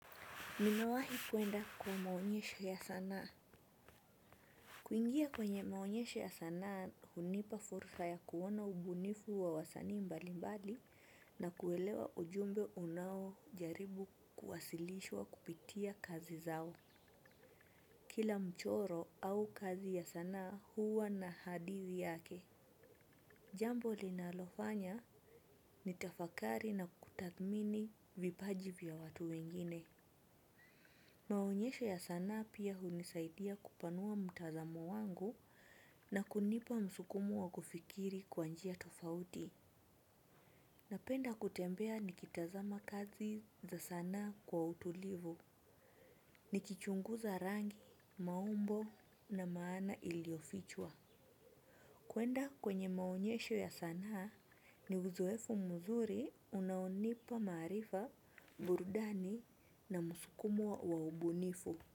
Nimewahi kuenda kwa maonyesho ya sanaa. Kuingia kwenye maonyesho ya sanaa hunipa fursa ya kuona ubunifu wa wasanii mbalimbali na kuelewa ujumbe unaojaribu kuwasilishwa kupitia kazi zao. Kila mchoro au kazi ya sanaa huwa na hadithi yake. Jambo linalofanya nitafakari na kutathmini vipaji vya watu wengine. Maonyesho ya sanaa pia hunisaidia kupanua mtazamo wangu na kunipa msukumo wa kufikiri kwa njia tofauti. Napenda kutembea nikitazama kazi za sanaa kwa utulivu. Nikichunguza rangi, maumbo na maana iliofichwa. Kuenda kwenye maonyesho ya sanaa ni uzoefu mzuri unaonipa maarifa, burudani na msukumo wa ubunifu.